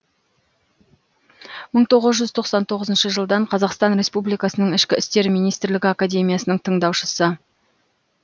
мың тоғыз жүз тоқсан тоғызыншы жылдан қазақстан республикасының ішкі істер министрлігі академиясының тыңдаушысы